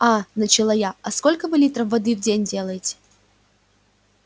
а начала я а сколько вы литров воды в день делаете